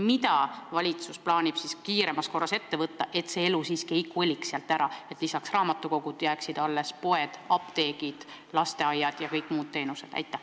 Mida valitsus plaanib kiiremas korras ette võtta, et elu siiski ei koliks maalt ära, et lisaks raamatukogudele jääksid alles poed, apteegid, lasteaiad ja kõik muud teenused?